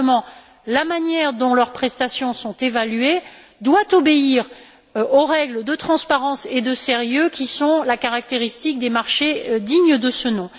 Simplement, la manière dont leurs prestations sont évaluées doit obéir aux règles de transparence et de sérieux qui sont la caractéristique des marchés dignes de ce nom.